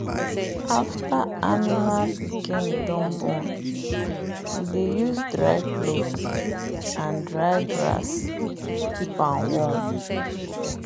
after animal pikin don born we dey use dry cloth and dry grass keep am warm.